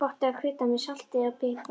Gott er að krydda með salti, pipar og